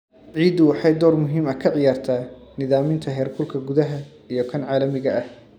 Ciiddu waxay door muhiim ah ka ciyaartaa nidaaminta heerkulka gudaha iyo kan caalamiga ah.